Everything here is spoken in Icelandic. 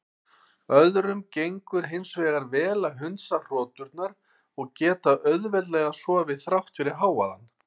Öðrum gengur hins vegar vel að hundsa hroturnar og geta auðveldlega sofið þrátt fyrir hávaðann.